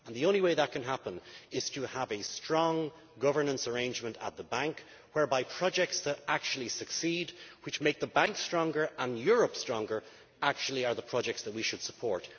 The only way that can happen is to have a strong governance arrangement at the Bank, whereby projects that actually succeed which make the Bank stronger and Europe stronger are the projects that we should support.